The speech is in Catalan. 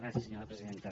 gràcies senyora presidenta